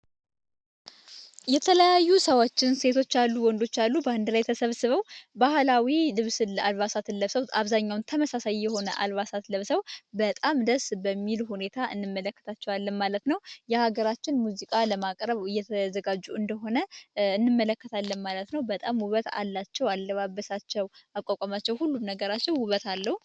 የተለያዩ ሰዋችን ሴቶች አሉ ወንዶች አሉ በአንድ ላይ ተሰብስበው ባህላዊ ልብስ ለብሰዉ አብዛኛውን ተመሳሳይ የሆነ አልባሳት ለብሰዉ በጣም ደስ በሚሉ ሁኔታ እንመለከታቸዋለን ማለት ነው የሀገራችን ሙዚቃ ለማቅረብ እየተዘጋጁ እንደሆነ እንመለከት አለም ማለት ነው። በጣም ውበት አላቸው፣ አለባበሳቸው አቋቋማቸው ሁሉም ነገራቸው ውበት አለው።